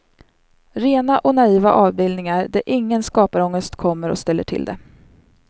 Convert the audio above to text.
Rena och naiva avbildningar där ingen skaparångest kommer och ställer till det.